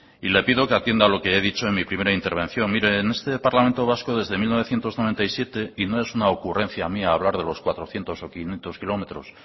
y le pido que atienda lo que he dicho en mi primera intervención mire en este parlamento vasco desde mil novecientos noventa y siete y no es una ocurrencia mía hablar de los cuatrocientos ó quinientos kilómetros